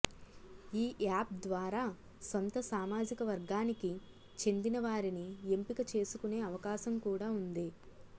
ఈయాప్ ద్వారా సొంత సామాజిక వర్గానికి చెందిన వారినీ ఎంపిక చేసుకునే అవకాశం కూడా ఉంది